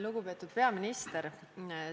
Lugupeetud peaminister!